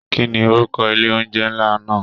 Kínní orúkọ ilé oúnjẹ nlá náà?